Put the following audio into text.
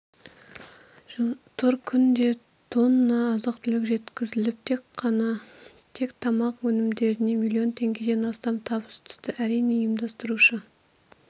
тұр күнде тонна азық-түлік жеткізіліп тек тамақ өнімдерінен млн теңгеден астам табыс түсті әрине ұйымдастырушы